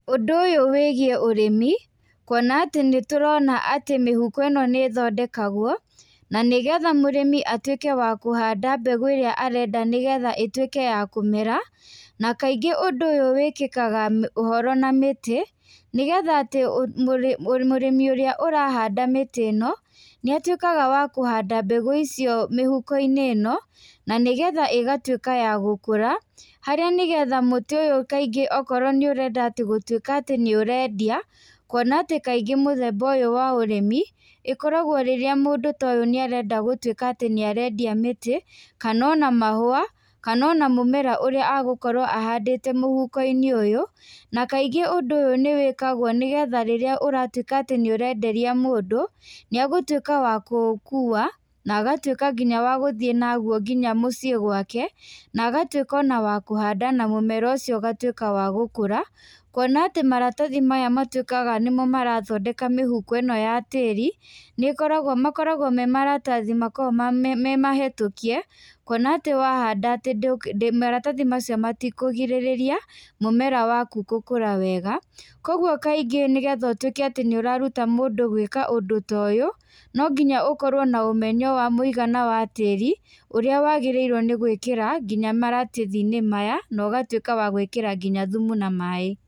Ũndũ ũyũ wĩgiĩ ũrĩmi. kuona atĩ nĩ tũrona atĩ mihuko ĩno nĩ ĩthodekagwo na nĩgetha mũrĩmi atuĩke wa kũhanda mbegu ĩrĩa arenda nĩgetha ĩtuĩke ya kũmera, na kaingĩ ũndũ ũyũ wĩkĩkaga ũhoro na mĩtĩ, nĩgetha atĩ murĩmi ũrĩa ũrahanda mĩtĩ ĩno nĩatuĩkaga wa kũhanda mbegũ icio mĩhuko-inĩ ĩno, na nĩgetha ĩgatuĩka ya gũkũra, haria nĩgetha mũtĩ ũyũ kaingĩ okorwo nĩũrenda atĩ gutũĩka atĩ nĩũrendia, kuona atĩ kaingĩ mũthemba ũyu wa ũrũmi ĩkoragwo rĩrĩa mũndũ ta ũyũ nĩarenda gũtuĩka atĩ nĩarendia mĩtĩ, kana ona mahũa, kana ona mũmera ũrĩa egũkorwo ahandĩte mũhuko-inĩ ũyũ, na kaingĩ undu ũyu nĩwĩkagwo nĩgetha rĩrĩa ũratuĩka atĩ nĩũrenderia mũndũ, nĩ egũtuĩka wa kũũkua, na agatuĩka nginya wa gũthíiĩ naguo nginya muciĩ gwake, na agatũĩka ona wa kũhanda na mũmera ũcio ũgatuĩka wa gũkũra. Kuona atĩ maratathi maya matuĩkaga nĩmo marathondeka mĩhuko ĩno ya tiĩri, nĩkoragwo makoragwo me maratathi makoragwo me mahĩtũkie, kũona atĩ wahanda atĩ maratathi macio matikũgirĩrĩa mũmera wakũ gũkũra wega. Koguo kaingĩ nĩgetha ũtuĩke atĩ nĩũraruta mũndũ gwika ũndũ ta ũyũ, no nginya ũkorwo na ũmenyo wa mũigana wa tĩri, ũrĩa wagĩrĩirwo nĩ gwĩkĩra nginya maratathi-inĩ maya, na ũgatuĩka wa gwĩkĩra nginya thumu na maaĩ.